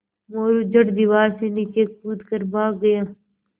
मोरू झट दीवार से नीचे कूद कर भाग गया